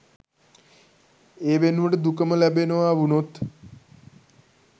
ඒ වෙනුවට දුකම ලැබෙනවා වුනොත්